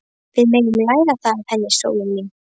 Við megum læra það af henni, sólin mín.